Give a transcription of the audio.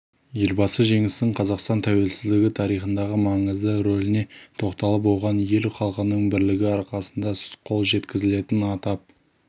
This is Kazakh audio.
елбасы жеңістің қазақстан тәуелсіздігі тарихындағы маңызды рөліне тоқталып оған ел халқының бірлігі арқасында қол жеткізілгенін атап